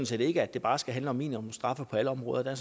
set ikke at det bare skal handle om minimumsstraffe på alle områder der